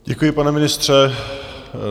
Děkuji, pane ministře.